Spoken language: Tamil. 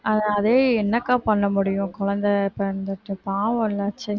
அஹ் அதே என்னக்கா பண்ண முடியும் குழந்தை பிறந்துச்சு பாவம் இல்லை ச்சே